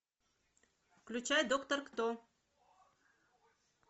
включай доктор кто